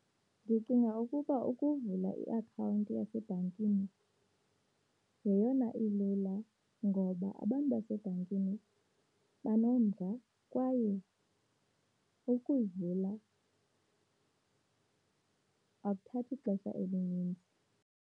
Ndicinga ukuba ukuvula iakhawunti yasebhankini yeyona ilula ngoba abantu basebhankini banomdla kwaye ukuyivula akuthathi xesha elininzi.